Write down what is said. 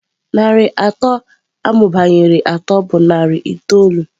Narị atọ amụbanyere atọ bụ narị itoolu.